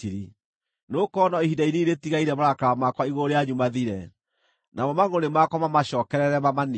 Nĩgũkorwo no ihinda inini rĩtigaire marakara makwa igũrũ rĩanyu mathire, namo mangʼũrĩ makwa mamacookerere mamaniine.”